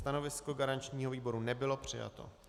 Stanovisko garančního výboru nebylo přijato.